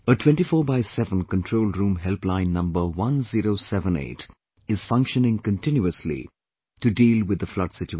A 24×7 control room helpline number 1078 is functioning continuously to deal with the flood situation